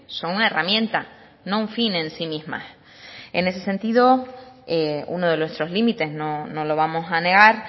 son una herramienta no un fin en sí mismas en ese sentido uno de nuestros límites no lo vamos a negar